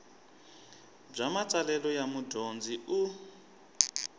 bya matsalelo ya mudyondzi u